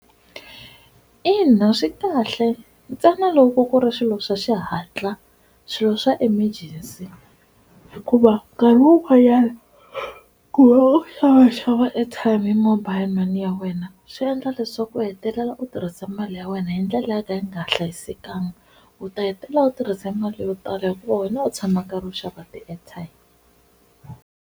Ina, swi kahle ntsena loko ku ri swilo swa xihatla swilo swa emergency hikuva nkarhi wun'wanyana ku va u xava xava airtime hi mobile money ya wena swi endla leswaku u hetelela u tirhisa mali ya wena hi ndlela yo ka yi nga hlayisekanga, u ta hetelela u tirhise mali yo tala hikuva wena u tshama u karhi u xava ti-airtime.